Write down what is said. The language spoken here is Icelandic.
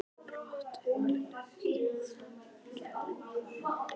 Brot úr ævisögunni gat verið á þessa leið